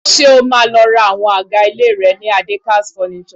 Ṣé o máa lọ ra àwọn àga ilé rẹ ni Adekaz Furnitures?